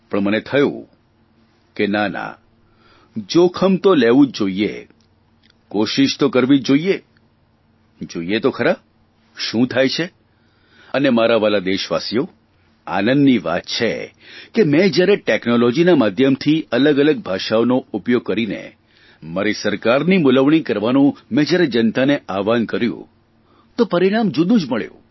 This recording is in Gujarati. પણ મને થયું નાના જોખમ તો લેવું જોઇએ કોશીષ તો કરવી જોઇએ જોઇએ તો ખરા શુ થાય છે અને મારા વ્હાલા દેશવાસીઓ આનંદની વાત છે કે મેં જ્યારે ટેકનોલોજીના માધ્યમથી અલગઅલગ ભાષાઓનો ઉપયોગ કરીને મારી સરકારની મૂલવણી કરવાનું મેં જયારે જનતાને આહવાન કર્યું તો પરિણામ જુદું જ મળ્યું